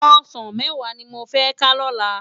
Òsán mèwá ni mó fè ká lòlá